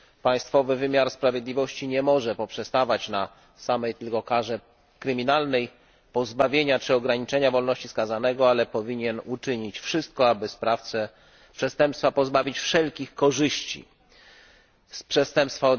Państwowy wymiar sprawiedliwości nie może poprzestawać na samej tylko karze kryminalnej pozbawienia czy ograniczenia wolności skazanego, ale powinien uczynić wszystko, aby sprawcę przestępstwa pozbawić wszelkich korzyści odniesionych z przestępstwa.